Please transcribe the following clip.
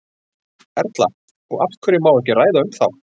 Erla: Og af hverju má ekki ræða um þá?